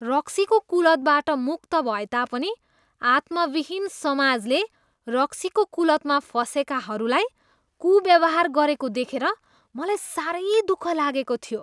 रक्सीको कुलतबाट मुक्त भएता पनि आत्माविहीन समाजले रक्सीको कुलतमा फसेकाहरूलाई कुव्यवहार गरेको देखेर मलाई साह्रै दुःख लागेको थियो।